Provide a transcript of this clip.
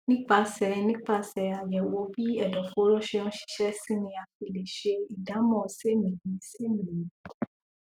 nípasẹ nípasẹ àyẹwò bí ẹdọfóró ṣe ń ṣiṣẹ sí ni a fi lè sẹ ìdámọ sémìísémìí